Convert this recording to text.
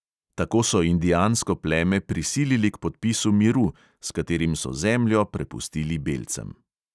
Tako so indijansko pleme prisilili k podpisu miru, s katerim so zemljo prepustili belcem.